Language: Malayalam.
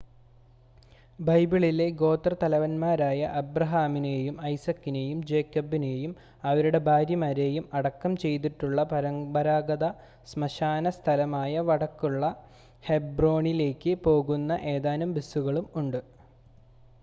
ബൈബിളിലെ ഗോത്രത്തലവന്മാരായ അബ്രഹാമിനെയും ഐസക്കിനെയും ജേക്കബിനെയും അവരുടെ ഭാര്യമാരെയും അടക്കം ചെയ്തിട്ടുള്ള പരമ്പരാഗത ശ്മശാന സ്ഥലമായ വടക്കുള്ള ഹെബ്രോണിലേക്ക് പോകുന്ന ഏതാനും ബസുകളും ഉണ്ട്